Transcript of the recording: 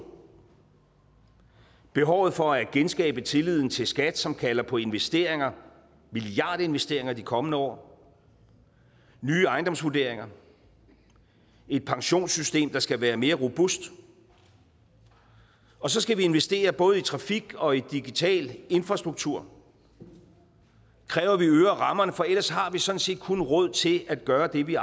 behovet for at genskabe tilliden til skat som kalder på investeringer milliardinvesteringer de kommende år nye ejendomsvurderinger et pensionssystem der skal være mere robust og så skal vi investere både i trafik og i digital infrastruktur det kræver at vi øger rammerne for ellers har vi sådan set kun råd til at gøre det vi